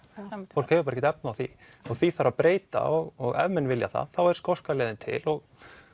fólk hefur bara ekki efni á því og því þarf að breyta og ef menn vilja það þá er skoska leiðin til og